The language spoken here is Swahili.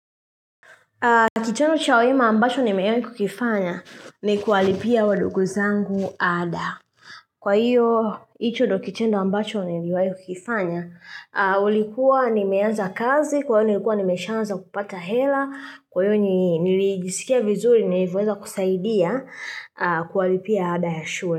Kitendo cha wema ambacho nimewahi kukifanya ni kuwalipia wadogo zangu ada. Kwa hiyo, hicho ndio kitendo ambacho niliwahi kukifanya ulikuwa nimeanza kazi, kwa hiyo nilikuwa nimesha anza kupata hela, kwa hiyo nilijisikia vizuri nilivyoweza kusaidia kuwalipia ada ya shule.